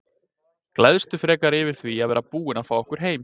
Gleðstu frekar yfir því að vera búinn að fá okkur heim.